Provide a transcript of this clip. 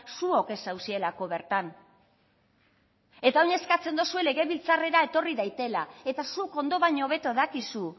zuok ez zaudetelako bertan eta orain eskatzen duzue legebiltzarrera etorri dadila eta zuk ondo baino hobeto dakizu